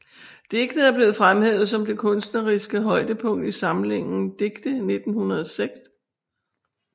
Digtet er blevet fremhævet som det kunstneriske højdepunkt i samlingen Digte 1906